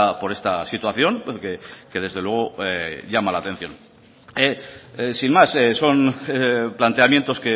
por esta situación que desde luego llama la atención sin más son planteamientos